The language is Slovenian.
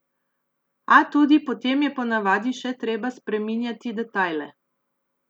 A tudi potem je ponavadi še treba spreminjati detajle.